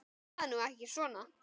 Talaðu nú ekki svona!